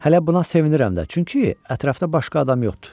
Hələ buna sevinirəm də, çünki ətrafda başqa adam yoxdur.